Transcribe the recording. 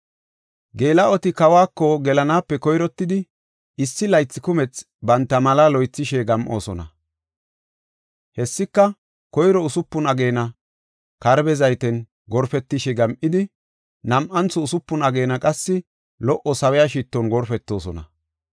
Geela7oti kawako gelanaape koyrottidi, issi laythi kumethi banta malaa loythishe gam7oosona. Hessika, koyro usupun ageena karbe zayten gorpetishe gam7idi, nam7antho usupun ageena qassi, lo77o sawiya shitton gorpetoosona.